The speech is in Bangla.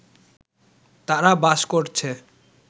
তারা বাস করছে